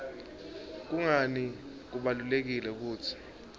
kungani kubalulekile kutsi